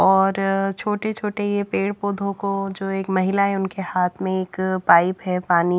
और छोटे-छोटे ये पेड़ पौधों को जो एक महिला है उनके हाथ में एक पाइप हैपानी--